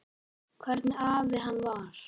Hvernig afi hann var.